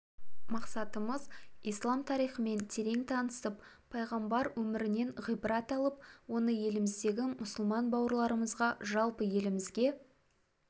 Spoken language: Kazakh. мақсатымыз ислам тарихымен терең танысып пайғамбар өмірінен ғибрат алып оны еліміздегі мұсылман бауырларымызға жалпы елімізге